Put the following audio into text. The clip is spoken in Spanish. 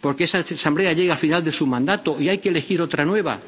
porque esa Asamblea llega al final de su mandato y hay que elegir otra nueva.